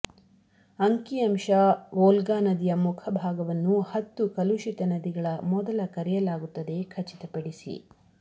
ಅಂಕಿಅಂಶ Volga ನದಿಯ ಮುಖಭಾಗವನ್ನು ಹತ್ತು ಕಲುಷಿತ ನದಿಗಳ ಮೊದಲ ಕರೆಯಲಾಗುತ್ತದೆ ಖಚಿತಪಡಿಸಿ